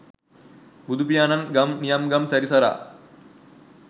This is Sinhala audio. බුදුපියාණන් ගම් නියම්ගම් සැරිසරා